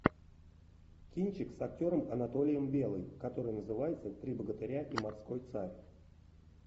кинчик с актером анатолием белым который называется три богатыря и морской царь